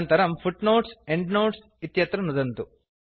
अनन्तरम् footnotesएण्डनोट्स् इत्यत्र नुदन्तु